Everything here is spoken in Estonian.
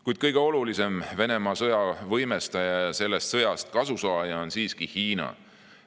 Kuid kõige olulisem Venemaa sõja võimestaja ja sellest sõjast kasusaaja on siiski Hiina.